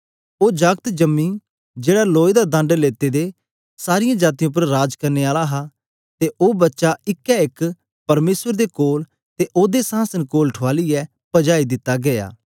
ओ जागत जम्मी जेड़ा लोए दा दंड लेते दे सारीयें जातीयें उपर राज करने आला हा ते ओ बच्चा इका एक परमेसर दे कोल ते ओदे संहासन दे कोल ठुआलीयै पजाई दिता गीया